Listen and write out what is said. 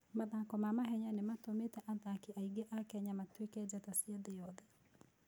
Mathako ma mahenya nĩ matũmĩte athaki aingĩ a Kenya matuĩke njata cia thĩ yothe.